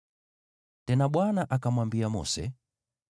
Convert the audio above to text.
Tena Bwana akamwambia Mose,